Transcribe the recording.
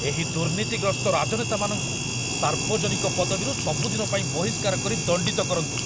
ଏହି ଦୁର୍ନୀତିଗ୍ରସ୍ତ ରାଜନେତାମାନଙ୍କୁ ସାର୍ବଜନୀକ ପଦବୀରୁ ସବୁଦିନପାଇଁ ବହିଷ୍କାର କରି ଦଣ୍ଡିତ କରନ୍ତୁ।